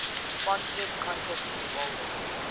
sponsored contests involving